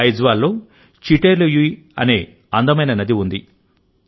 ఐజ్వాల్లో చిటే లూయి అనే అందమైన నది ఉంది